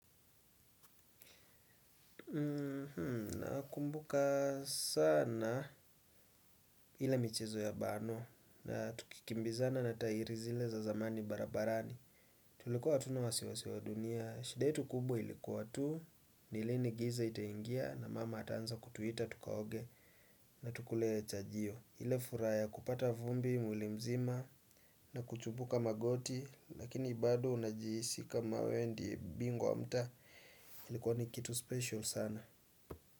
Nakumbuka sana ile michezo ya bano na tukikimbizana na tayiri zile za zamani barabarani. Tulikuwa hatuna wasiwasi wa dunia, shida yetu kubwa ilikuwa tu, ni lini giza itaingia na mama ataanza kutuita tukaoge na tukule chajio. Ile furaha ya kupata vumbi mwilimzima na kuchibuka magoti lakini bado unajihisi kama wewe ndiye bingwa wa mtaa ilikuwa ni kitu special sana.